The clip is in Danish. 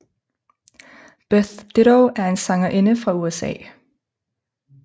Beth Ditto er en sangerinde fra USA